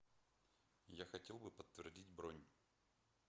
я хотел бы подтвердить бронь